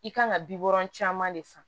I kan ka bi wɔɔrɔn caman de san